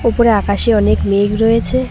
উপরে আকাশে অনেক মেঘ রয়েছে।